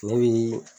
Ne bi